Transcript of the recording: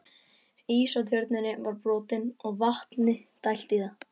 Ís á Tjörninni var brotinn og vatni dælt þaðan.